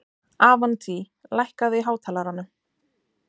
Avantí, lækkaðu í hátalaranum.